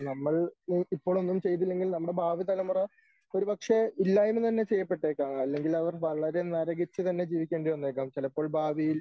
നമ്മൾ ഇപ്പോൾ ഒന്നും ചെയ്തില്ലെങ്കിൽ നമ്മുടെ ഭാവിതലമുറ ഒരുപക്ഷേ ഇല്ലായ്മ തന്നെ ചെയ്യപ്പെട്ടേക്കാം അല്ലെങ്കിൽ അവർ വളരെ നരകിച്ച് തന്നെ ജീവിക്കേണ്ടി വന്നേക്കാം ചിലപ്പോൾ ഭാവിയിൽ